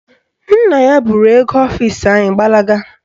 Nna ya buru oge ọfisi anyị gbalaga.